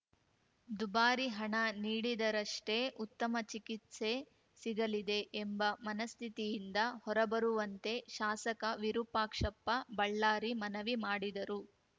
ದುಬಾರಿ ಹಣ ನೀಡಿದರಷ್ಟೇ ಉತ್ತಮ ಚಿಕಿತ್ಸೆ ಸಿಗಲಿದೆ ಎಂಬ ಮನಸ್ಥಿತಿಯಿಂದ ಹೊರಬರುವಂತೆ ಶಾಸಕ ವಿರೂಪಾಕ್ಷಪ್ಪ ಬಳ್ಳಾರಿ ಮನವಿ ಮಾಡಿದರು